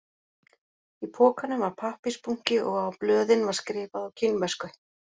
Í pokanum var pappírsbunki og á blöðin var skrifað á kínversku